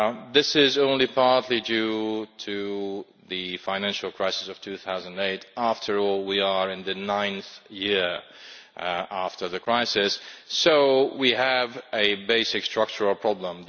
This is only partly due to the financial crisis of 2008 after all, we are in the ninth year after the crisis so we have a basic structural problem.